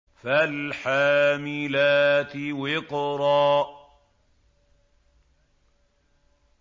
فَالْحَامِلَاتِ وِقْرًا